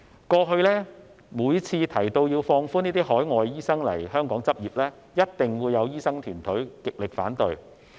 過去每次提到要放寬海外醫生來港執業，一定會有醫生團體極力反對。